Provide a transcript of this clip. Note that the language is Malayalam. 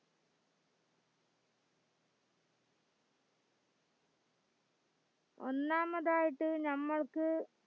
ഒന്നാമതായിട്ട് ഞമ്മൾക്ക്